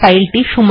file এখানেই আছে